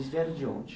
Eles vieram de onde?